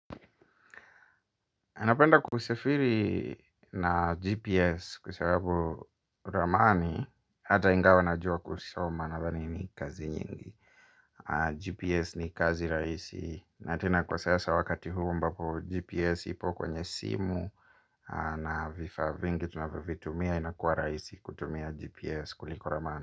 Napenda kusafiri na GPS kwa sababu ramani. Hata ingawa najua kusoma nadhani ni kazi nyingi GPS ni kazi rahisi na tena kwa sasa wakati huu ambapo GPS ipo kwenye simu. Na vifaa vingi tunavyovitumia inakuwa rahisi kutumia GPS kuliko ramani.